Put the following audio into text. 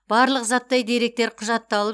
барлық заттай деректер құжатталып